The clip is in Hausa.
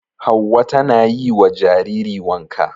Hauwa tana yi wa jariri wanka.